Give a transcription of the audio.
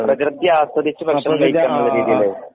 പ്രെകൃതി ആസ്വദിച്ച് ഭക്ഷണം കഴിക്കാനുള്ള രീതീല്